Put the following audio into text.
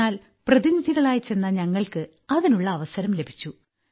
എന്നാൽ പ്രതിനിധികളായി ചെന്ന ഞങ്ങൾക്ക് അതിനുള്ള അവസരം ലഭിച്ചു